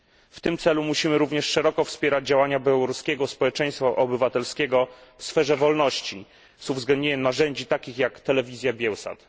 W tym celu musimy również szeroko wspierać działania białoruskiego społeczeństwa obywatelskiego w sferze wolności z uwzględnieniem narzędzi takich jak telewizja Bielsat.